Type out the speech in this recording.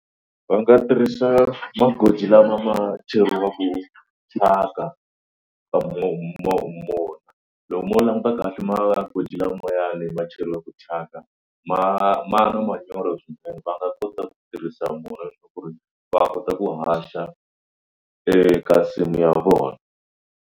Va nga tirhisa magoji lama ma cheriwaku thyaka loko mo languta kahle magoji lamayani ma cheriwaka thyaka ma ma na manyoro swinene. Va nga kota ku tirhisa mona leswaku ri va kota ku haxa eka nsimu ya vona.